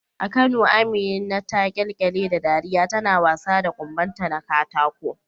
A Kano Amina ta kyalkyale da dariya tana wasa da kumbonta na katako.